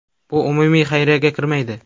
Bu umumiy xayriyaga kirmaydi.